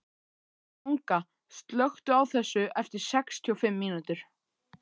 Manga, slökktu á þessu eftir sextíu og fimm mínútur.